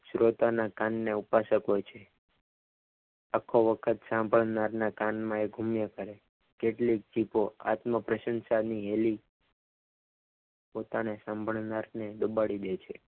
શ્રોતાના કાનના ઉપાસકો છ આંખો વખત સાંભળનારના કાનમાં એ કેટલીક ક્લિપો આત્મ પ્રશંસાની હેલ પોતાના સાંભળનારને દબાવી દે છે.